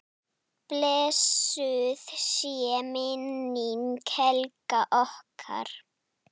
Blessuð sé minning Helgu okkar.